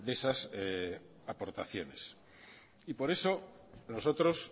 esas aportaciones y por eso nosotros